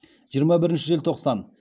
жиырма бірінші желтоқсан